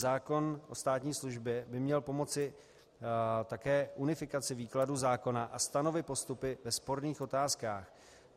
Zákon o státní službě by měl pomoci také unifikaci výkladu zákona a stanovit postupy ve sporných otázkách.